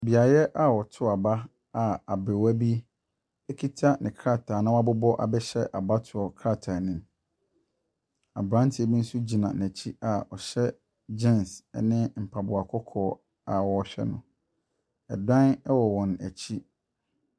Beaeɛ a wɔto aba a aberwa bi kitavne krataa na wabobɔ abɛhyɛ abatoɔ krataa ne mu. Aberanteɛ bi nso gyina n’akyi a ɔhyɛ jeans na mpaboa kɔkɔɔ a wɔrehwɛ no. Dan wɔ wɔn akyi.